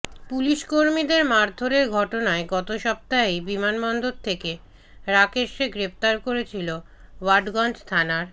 পুলিশকর্মীদের মারধরের ঘটনায় গত সপ্তাহেই বিমানবন্দর থেকে রাকেশকে গ্রেফতার করেছিল ওয়াটগঞ্জ থানার